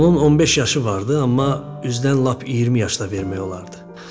Onun 15 yaşı vardı, amma üzdən lap 20 yaşda vermək olardı.